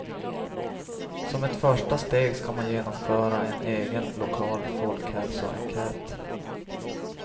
Som ett första steg ska man genomföra en egen lokal folkhälsoenkät.